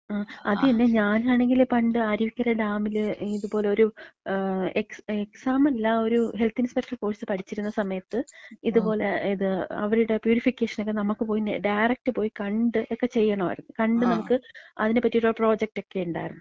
അത് തന്നെ, ഞാനാണെങ്കി പണ്ട് അരുവിക്കര ഡാമില് പണ്ട് ഇതേപോലെ ഒരു എക്സാം, എക്സാമല്ല, ഒരു ഹെൽത്ത് ഇൻസ്പെക്ടർ കോഴ്സ് പഠിച്ചിര്ന്ന സമയത്ത്, ഇതുപോല ഇത്, അവരുടെ പ്യൂരിഫിക്കേഷനൊക്കെ നമക്ക് പോയി ഡയറക്റ്റ് പോയി കണ്ട് ഒക്കെ ചെയ്യണായിര്ന്ന്. കണ്ട് നമ്മക്ക് അതിനെപറ്റിട്ടുള്ള പ്രോജക്ടെക്കെ ഇണ്ടായിരുന്നു.